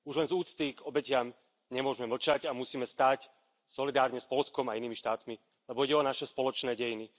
Už len z úcty k obetiam nemôžeme mlčať a musíme stáť solidárne s Poľskom a inými štátmi, lebo ide o naše spoločné dejiny.